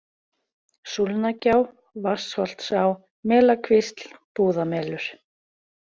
Súlnagjá, Vatnsholtsá, Melakvísl, Búðamelur